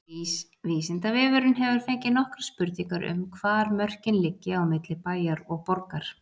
Vísindavefurinn hefur fengið nokkrar spurningar um hvar mörkin liggi á milli bæjar og borgar.